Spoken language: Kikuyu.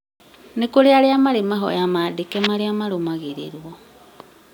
nĩkũri arĩa marĩ mahoya maandĩke marĩa marũmagĩrĩrwo